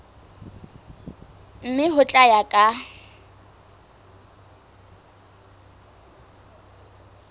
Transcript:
mme ho tla ya ka